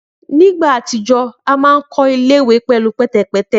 Ni awọn ti o ti kọja ile-iwe awọn ile-iwe wọn ṣe pẹlu pẹtẹpẹtẹ.